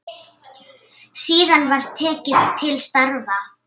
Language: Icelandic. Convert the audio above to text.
Síðan var tekið til starfa.